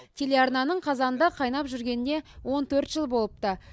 телеарнаның қазанында қайнап жүргеніне он төрт жыл болыпты